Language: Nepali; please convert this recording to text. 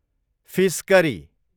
fees curry